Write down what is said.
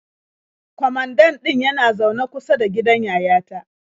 Kwamandan ɗin yana zaune kusa da gidan yayata.